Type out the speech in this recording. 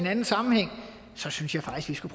anden sammenhæng synes jeg faktisk vi